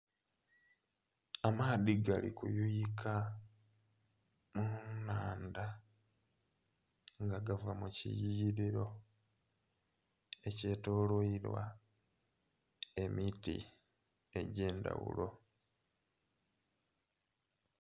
Amaadhi gali ku yuyika mu nnhandha nga gava mu ki yughiriro ekye tolweirwa emiti egye ndhaghulo.